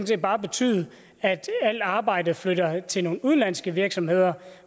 set bare betyde at alt arbejdet flytter til nogle udenlandske virksomheder